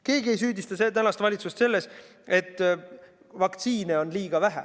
Keegi ei süüdista valitsust selles, et vaktsiine on liiga vähe.